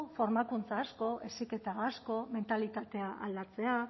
formakuntza asko heziketa asko mentalitatea aldatzea